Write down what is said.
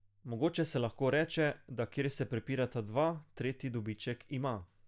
Mogoče se lahko reče, da kjer se prepirata dva, tretji dobiček ima.